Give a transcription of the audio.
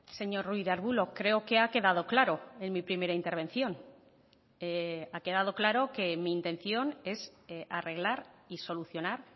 señor ruiz de arbulo creo que ha quedado claro en mi primera intervención ha quedado claro que mi intención es arreglar y solucionar